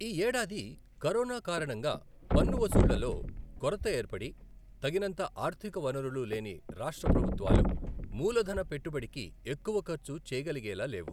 ఈ ఏడాది కరోనా కారణంగా పన్ను వసూళ్ళలో కొరత ఏర్పడి తగినంత ఆర్థిక వనరులు లేని రాష్ట్ర ప్రభుత్వాలు మూలధన పెట్టుబడికి ఎక్కువ ఖర్చు చేయగలిగేలా లేవు.